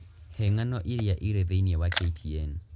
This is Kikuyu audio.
He ng'ano iria irĩ thĩinĩ wa k.t.n